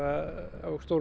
á